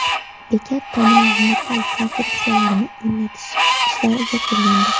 Bekat tomining metall konstruksiyalarini o‘rnatish ishlari yakunlandi.